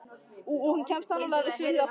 Og hún kemur sannarlega við sögu hér aftar.